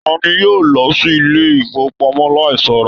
Tani yóò lọ sí ilé ifowopamọ láì ṣọra?